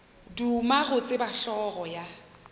duma go tseba hlogo ya